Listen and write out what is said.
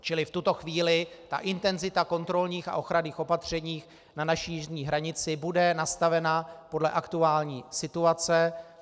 Čili v tuto chvíli ta intenzita kontrolních a ochranných opatření na naší jižní hranici bude nastavena podle aktuální situace.